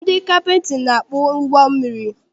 Ndị kaptịnị na-akpụ ụgbọ mmiri.